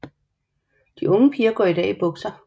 De unge piger går i dag i bukser